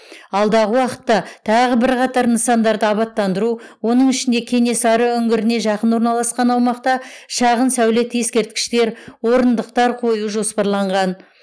алдағы уақытта тағы бірқатар нысандарды абатттандыру оның ішінде кенесары үңгіріне жақын орналасқан аумақта шағын сәулет ескерткіштер орындықтар қою жоспарланған